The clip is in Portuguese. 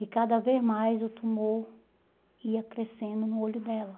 E cada vez mais o tumor ia crescendo no olho dela.